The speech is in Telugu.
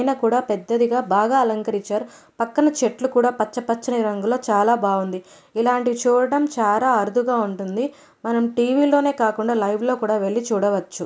ఐనకుడా పెద్దదిగా బాగా అలంకరిచ్చారు. పక్కన చెట్లు కూడ పచ్చ పచ్చని రంగు లొ చాల బాగుంది. ఇలాంటివి చూడడం చాల అరుదు ఉంటుంది. మనం టీవీ లొనే కాకుండా లైవ్ లొ కూడ వెళ్లి చూడవొచ్చు.